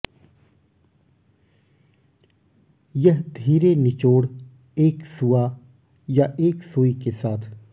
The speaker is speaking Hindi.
यह धीरे निचोड़ एक सूआ या एक सुई के साथ